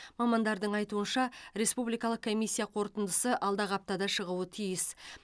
мамандардың айтуынша республи калық комиссия қорытындысы алдағы аптада шығуы тиіс